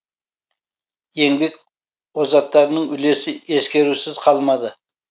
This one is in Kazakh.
еңбек озаттарының үлесі ескерусіз қалмады